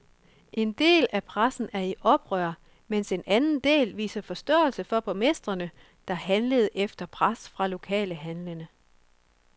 En del af pressen er i oprør, mens en anden del viser forståelse for borgmestrene, der handler efter pres fra lokale handlende.